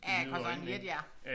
Ja koster en jetjager